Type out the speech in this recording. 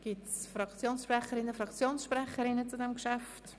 Gibt es Fraktionssprecherinnen und -sprecher zu diesem Geschäft?